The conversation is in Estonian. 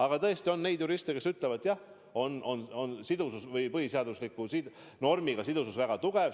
Aga tõesti on juriste, kes ütlevad: jah, seotus põhiseadusliku normiga on väga tugev.